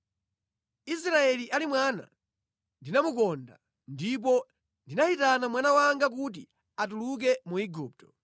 “Israeli ali mwana, ndinamukonda, ndipo ndinayitana mwana wanga kuti atuluke mu Igupto.